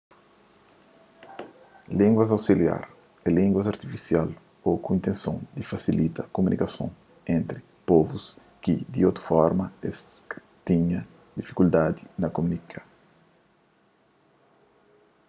línguas ausiliar é línguas artifisial ô ku intenson di fasilita kumunikason entri povus ki di otu forma es ta tinha difikuldadi na kumunika